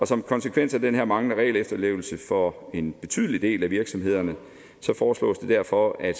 som konsekvens af den her manglende regelefterlevelse for en betydelig del af virksomhederne foreslås det derfor at